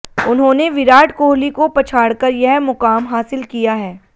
उन्होंने विराट कोहली को पछाड़कर यह मुकाम हासिल किया है